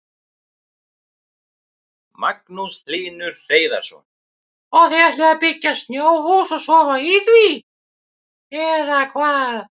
Magnús Hlynur Hreiðarsson: Og þið ætlið að byggja snjóhús og sofa í því eða hvað?